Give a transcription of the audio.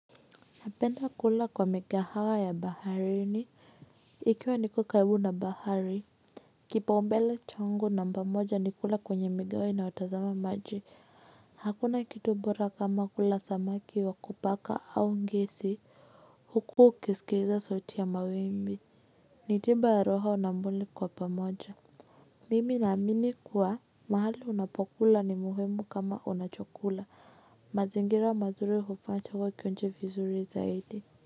Napenda kula kwa mikahawa ya baharini ikiwa niko karibu na bahari. Kipa umbele changu namba moja ni kula kwenye migahawa inayotazama maji. Hakuna kitu bora kama kula samaki wa kupaka au ngesi. Huku ukisikiza sauti ya mawimbi ni tiba ya roho na mwili kwa pamoja. Mimi naamini kuwa mahali unapokula ni muhimu kama unachokula. Mazingira mazuri hufaa cha huwa kionche izuri zaidi.